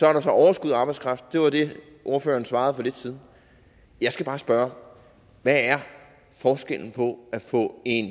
er der så overskud af arbejdskraft det var det ordføreren svarede for lidt siden jeg skal bare spørge hvad er forskellen på at få en